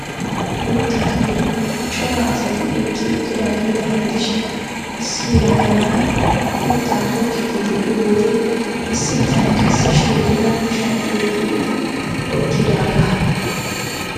Uutta giddon cora asati eqqi uttidaageeta gidishin issi yelaga na'ay uuttaa tokkiiddi de'iyo wode issi bitanee qassi shoodiraa kushiyan oyqqi utt oyqqidaagaa.